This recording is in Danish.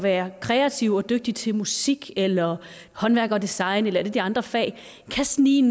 er kreative og dygtige til musik eller håndværk og design eller et af de andre fag kan snige